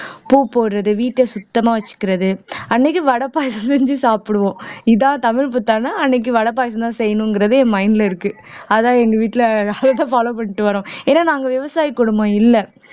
பூ போடறது வீட்டை சுத்தமா வச்சுக்கிறது அன்னைக்கு வடை பாயாசம் செஞ்சு சாப்பிடுவோம் இதான் தமிழ் புத்தாண்டா அன்னைக்கு வடை பாயாசம்தான் செய்யணுங்கிறது என் mind ல இருக்கு அதான் எங்க வீட்டுல follow பண்ணிட்டு வர்றோம் ஏன்னா நாங்க விவசாய குடும்பம் இல்ல